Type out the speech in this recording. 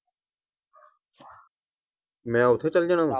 ਮੈਂ ਓਥੇ ਚਲ ਜਾਣਾ ਵਾ।